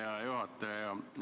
Hea juhataja!